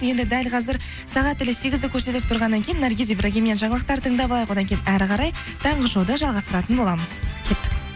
енді дәл қазір сағат тілі сегізді көрсетіп тұрғаннан кейін наргиз ибрагиммен жаңалықтар тыңдап алайық одан кейін әрі қарай таңғы шоуды жалғастыратын боламыз кеттік